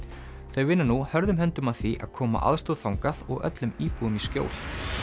þau vinna nú hörðum höndum að því að koma aðstoð þangað og öllum íbúum í skjól